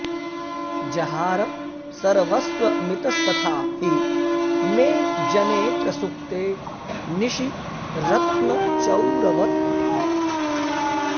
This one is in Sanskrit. जहार सर्वस्वमितस्तथा हि मे जने प्रसुप्ते निशि रत्नचौरवत्